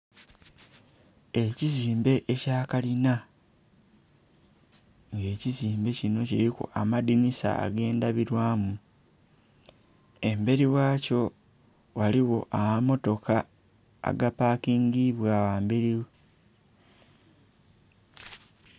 Ekizimbe ekya kalina, nga ekizimbe kino kuliku amadhinhisa agendhabirwamu, emberi ghakyo ghaligho amamotoka agapakingibwa ghamberi.